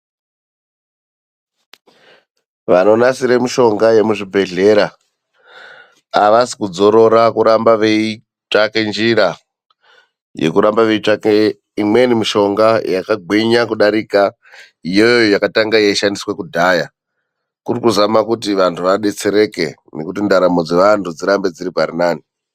Vanonasira mishonga yemuzvibhedhlera, avasi kudzorora kuramba veitsvake njira yekurambe veitsvake imweni mishonga, yakagwinya kudarika iyoyo yakatanga yeishandiswa kudhaya, kuri kuzama kuti vantu vadetsereke nekuti ndaramo dzevantu dzirambe dziri parinani.